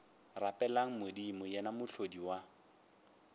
rapeleng modimo yena mohlodi wa